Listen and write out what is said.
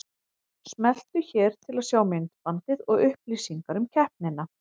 Smelltu hér til að sjá myndbandið og upplýsingar um keppnina